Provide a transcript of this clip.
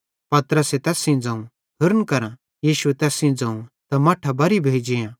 पतरसे तैस सेइं ज़ोवं होरन करां यीशुए तैस सेइं ज़ोवं त मट्ठां बरी भोइ जेआं